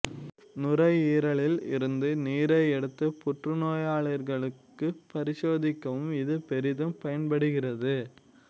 நுரையீரலில் இருந்து நீரை எடுத்து புற்றுநோயாளிகளுக்கு பரிசோதிக்கவும் இது பெரிதும் பயன்படுகிறது